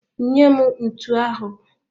Nye m ntu ahụ!